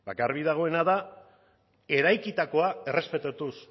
garbi dagoena da eraikitakoa errespetatuz